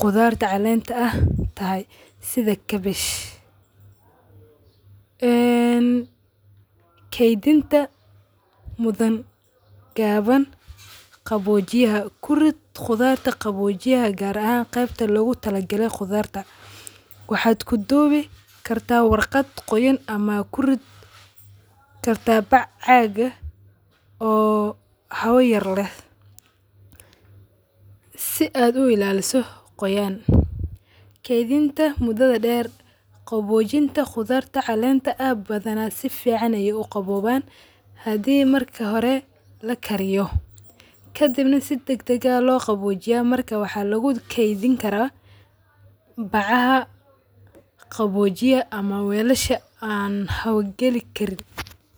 qudharta caleenta aah tahay sidha; cabbage. Keydinta mudhan gaaban gabojiyah kuriid qudharta gabojiyaha gaar ahan qeebta lagutalagale qudharta. Waxad kudibi karta warqaat quyaan ama kuridhi kartaa baac caaq aah oo hawa yaar leh si aad u ilaliso qoyaan. Keedinta mudadha deer, qabojinta qudharta caleenta ah badhana sificaan ay u qabobaan. Hadii marka hore lakariyo kadib na si dagdag ah loo gawojiya marka waxa lagukrdhini karaa bacaha qaboojiyaha ama weelasha an hawl qali kariin.